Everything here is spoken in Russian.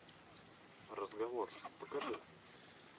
разговор покажи